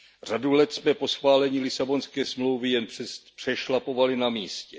Řadu let jsme po schválení Lisabonské smlouvy jen přešlapovali na místě.